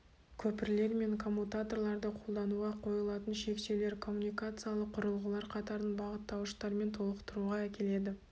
көпірлер мен коммутаторларды қолдануға қойылатын шектеулер коммуникациялық құрылғылар қатарын бағыттауыштармен толықтыруға әкелді